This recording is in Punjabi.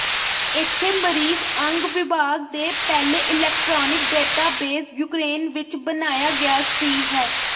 ਇੱਥੇ ਮਰੀਜ਼ ਅੰਗ ਵਿਭਾਗ ਦੇ ਪਹਿਲੇ ਇਲੈਕਟ੍ਰਾਨਿਕ ਡੇਟਾਬੇਸ ਯੂਕਰੇਨ ਵਿੱਚ ਬਣਾਇਆ ਗਿਆ ਸੀ ਹੈ